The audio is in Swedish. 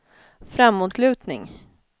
framåtlutning